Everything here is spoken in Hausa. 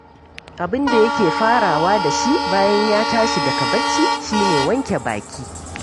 Abin da yake farawa da shi bayan ya tashi daga barci shi ne wanke baki